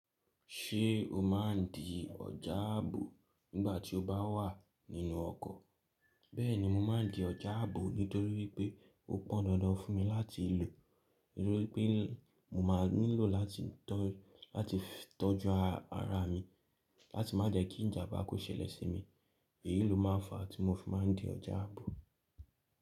Ṣé o máa ń di ọjà ààbò nígbà tí o bá wà nínú ọkọ̀? Bẹ́ẹ̀ni mo máa ń di ọjà ààbò nítorí pé ó pọn dandan fún mi láti lò. Nítorí pé mo máa nílò láti tọ́ju ara mi láti má jẹ́ kí ìjàmbá kó ṣẹlẹ̀ sí mi. Èyí ló máa ń fa tí mo fi máa ń di ọjà ààbò.